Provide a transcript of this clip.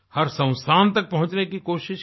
हर संस्थान तक पहुँचने की कोशिश की